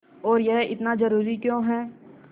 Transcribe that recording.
और यह इतना ज़रूरी क्यों है